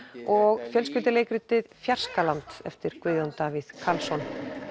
og fjölskylduleikritið Fjarskaland eftir Guðjón Davíð Karlsson